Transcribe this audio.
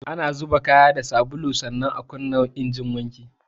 Ana zuba kaya haɗe da ruwa da sabulu, sannan a kunna injin wanki